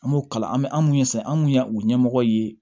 An m'o kalan an bɛ an mun ye san an kun y'a o ɲɛmɔgɔ ye